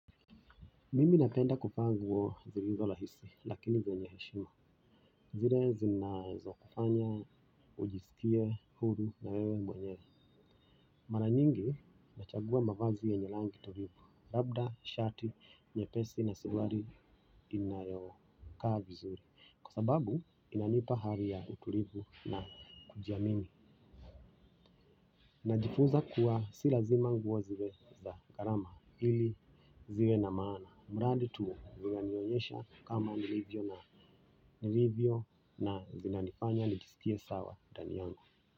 Mimi napenda kuvaa nguo zilizo rahisi lakini zenye heshima. Zile zinazo kufanya ujisikie huru na wewe mwenyewe. Mara nyingi nachagua mavazi yenye rangi tulivu. Labda shati, nyepesi na suruali inayokaa vizuri. Kwa sababu inanipa hali ya utulivu na kujiamini. Najifunza kuwa si lazima nguo ziwe za garama ili ziwe na maana. Mradi tu zinanionyesha kama nilivyo na nilivyo na zinanifanya nijisikie sawa ndani yangu.